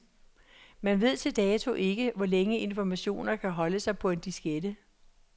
Man ved til dato ikke, hvor længe informationer kan holde sig på en diskette.